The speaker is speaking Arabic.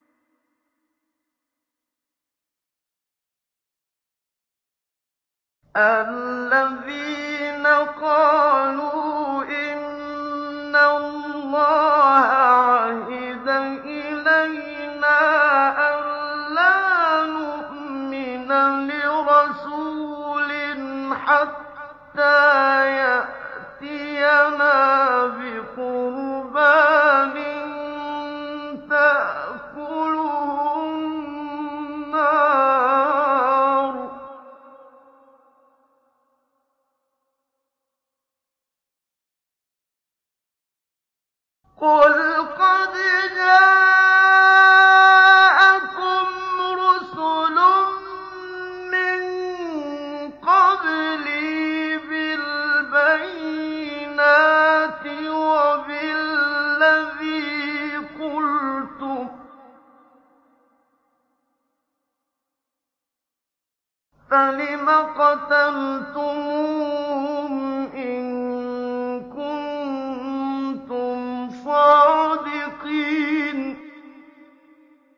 الَّذِينَ قَالُوا إِنَّ اللَّهَ عَهِدَ إِلَيْنَا أَلَّا نُؤْمِنَ لِرَسُولٍ حَتَّىٰ يَأْتِيَنَا بِقُرْبَانٍ تَأْكُلُهُ النَّارُ ۗ قُلْ قَدْ جَاءَكُمْ رُسُلٌ مِّن قَبْلِي بِالْبَيِّنَاتِ وَبِالَّذِي قُلْتُمْ فَلِمَ قَتَلْتُمُوهُمْ إِن كُنتُمْ صَادِقِينَ